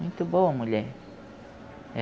Muito boa mulher.